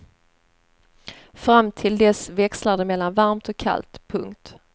Fram till dess växlar det mellan varmt och kallt. punkt